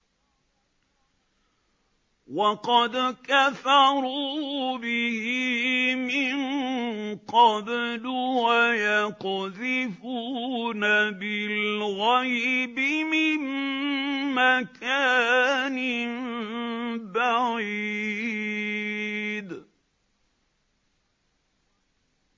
وَقَدْ كَفَرُوا بِهِ مِن قَبْلُ ۖ وَيَقْذِفُونَ بِالْغَيْبِ مِن مَّكَانٍ بَعِيدٍ